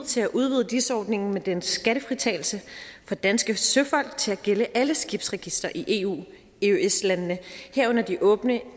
til at udvide dis ordningen med dens skattefritagelse for danske søfolk til at gælde alle skibsregistre i eu eøs landene herunder de åbne